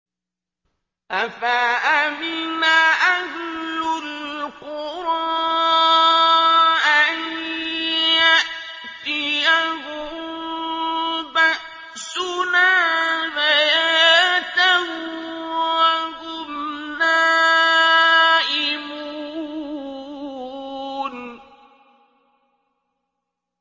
أَفَأَمِنَ أَهْلُ الْقُرَىٰ أَن يَأْتِيَهُم بَأْسُنَا بَيَاتًا وَهُمْ نَائِمُونَ